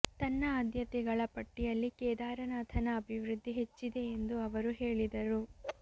ತನ್ನ ಆದ್ಯತೆಗಳ ಪಟ್ಟಿಯಲ್ಲಿ ಕೇದಾರನಾಥನ ಅಭಿವೃದ್ಧಿ ಹೆಚ್ಚಿದೆ ಎಂದು ಅವರು ಹೇಳಿದರು